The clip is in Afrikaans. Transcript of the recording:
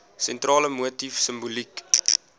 sentrale motief simboliek